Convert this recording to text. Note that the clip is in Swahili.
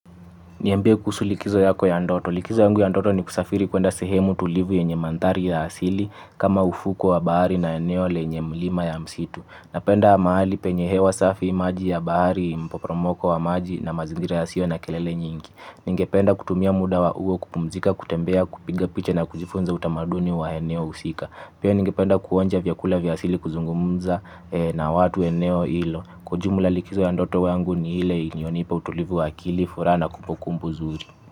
Niambie kusu likizo yako ya ndoto? Likizo yangu ya ndoto ni kusafiri kwenda sehemu tulivu yenye mandhari ya asili kama ufuko wa bahari na eneo lenye mlima na msitu. Napenda mahali penye hewa safi maji, ya bahari, mporomoko wa maji na mazingira ya sio na kelele nyingi. Ningependa kutumia muda wa huo kupumzika, kutembea, kupiga picha na kujifunza utamaduni wa eneo husika. Pia ningipenda kuonja vyakula vyasili kuzungumza na watu wa eneo hilo. Kwa jumula likizo ya ndoto yangu ni ile inyonipa utulivu wa akili, furaha na kumbukumbu nzuri.